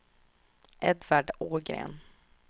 Edvard Ågren